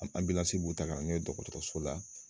Anbilansi b'u ta ka na n'u ye dɔgɔtɔrɔso la.